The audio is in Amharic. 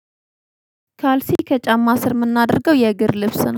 ካልሲ ከጫማ ስር ምናደርገው የእግር ልብስ ነው።